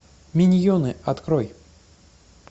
миньоны открой